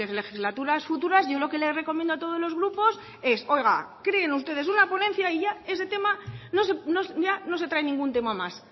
las legislaturas futuras yo lo que le recomiendo a todos los grupos es oiga creen ustedes una ponencia y ya ese tema ya no se trae ningún tema más